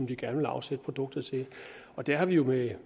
de gerne vil afsætte produktet til og der har vi jo med